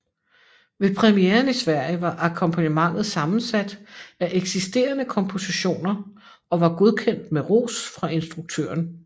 Ved premieren i Sverige var akkompagnementet sammensat af eksisterende kompositioner og var godkendt med ros fra instruktøren